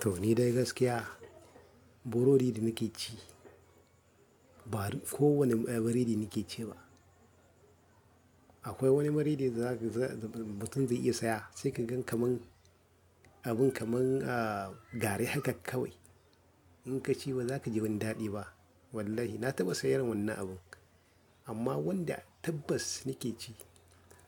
To ni dai gaskiya burodi da nake ci ba kowane biredi nake ci ba. Akwai wani biredi da zaga mutum zai iya saya sai ka gan kamar abun kamar, ah, gari haka kawai. In ka ci ba za ka ji wani daɗi ba. Wallahi na taɓa sayar irin wannan abun. Amma wanda tabbas nake ci